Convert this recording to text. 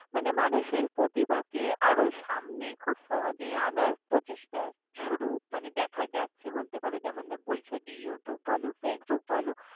মানে মানুষের প্রতিভাকে আরও সামনে খুব সহজে আনার প্রচেষ্টা শুরু মানে দেখা যাচ্ছে বলতে পারো। যেমন বলছ যে youtube বলো, facebook বলো।